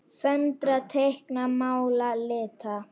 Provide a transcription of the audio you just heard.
Föndra- teikna- mála- lita